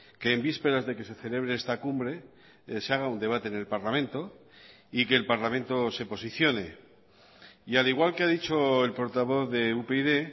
que en vísperas de que se celebre esta cumbre se haga un debate en el parlamento y que el parlamento se posicione y al igual que ha dicho el portavoz de upyd